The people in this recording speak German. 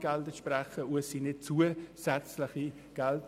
Es handelt sich also nicht um zusätzliche Gelder.